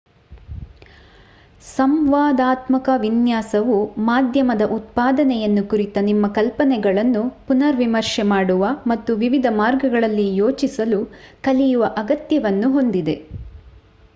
ಸಂವಾದಾತ್ಮಕ ವಿನ್ಯಾಸವು ಮಾಧ್ಯಮದ ಉತ್ಪಾದನೆಯನ್ನು ಕುರಿತ ನಿಮ್ಮ ಕಲ್ಪನೆಗಳನ್ನು ಪುನರ್ ವಿಮರ್ಶೆ ಮಾಡುವ ಮತ್ತು ವಿವಿಧ ಮಾರ್ಗಗಳಲ್ಲಿ ಯೋಚಿಸಲು ಕಲಿಯುವ ಅಗತ್ಯವನ್ನು ಹೊಂದಿದೆ